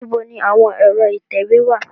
Níbo ni àwọn ẹ̀rọ ìtẹ̀wé wá à?